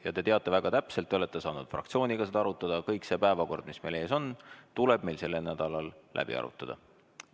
Ja te teate väga täpselt – te olete saanud fraktsiooniga seda arutada –, et kogu see päevakord, mis meil ees on, tuleb meil sellel nädalal läbi arutada.